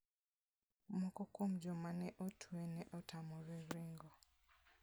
Moko kuom joma ne otwe ne otamore ringo.